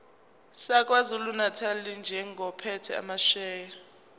sakwazulunatali njengophethe amasheya